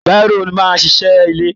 Baro máa n ṣiṣẹ ilé.